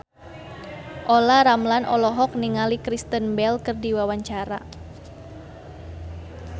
Olla Ramlan olohok ningali Kristen Bell keur diwawancara